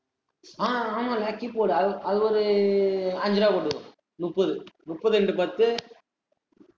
ஆஹ் ஆமால்ல keyboard அது ஒரு, அஞ்சு ரூபாவ போட்டுக்கோ முப்பது, முப்பது into பத்து